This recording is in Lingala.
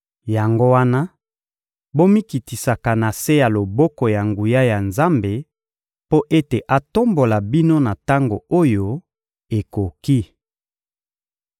Yango wana, bomikitisaka na se ya loboko ya nguya ya Nzambe mpo ete atombola bino na tango oyo ekoki.